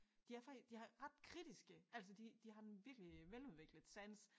De er de er ret kritiske altså de de har en virkelig veludviklet sans